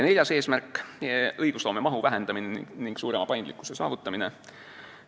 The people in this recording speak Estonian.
Neljas eesmärk: õigusloome mahu vähendamine ning suurema paindlikkuse saavutamine.